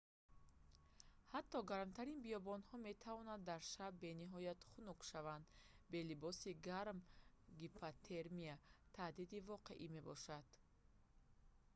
ҳатто гармтарин биёбонҳо метавонанд дар шаб бениҳоят хунук шаванд бе либоси гарм гипотермия таҳдиди воқеӣ мебошад